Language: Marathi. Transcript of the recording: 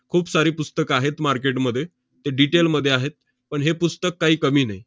खूप सारी पुस्तकं आहेत market मध्ये. ते detail मध्ये आहेत, पण हे पुस्तक काही कमी नाही.